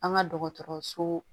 An ka dɔgɔtɔrɔso